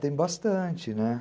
Tem bastante, né.